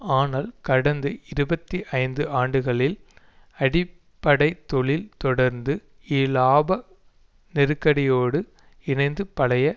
ஆனால் கடந்த இருபத்தி ஐந்து ஆண்டுகளில் அடிப்படை தொழிலில் தொடர்ந்து இலாப நெருக்கடியோடு இணைந்து பழைய